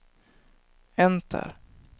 enter